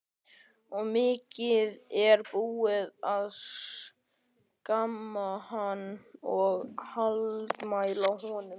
Og mikið er búið að skamma hann og hallmæla honum.